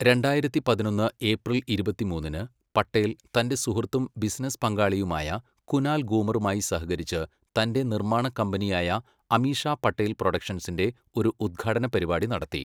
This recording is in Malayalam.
രണ്ടായിരത്തി പതിനൊന്ന് ഏപ്രിൽ ഇരുപത്തിമൂന്നിന്, പട്ടേൽ തന്റെ സുഹൃത്തും ബിസിനസ് പങ്കാളിയുമായ കുനാൽ ഗൂമറുമായി സഹകരിച്ച് തന്റെ നിർമ്മാണ കമ്പനിയായ അമീഷ പട്ടേൽ പ്രൊഡക്ഷൻസിന്റെ ഒരു ഉദ്ഘാടന പരിപാടി നടത്തി.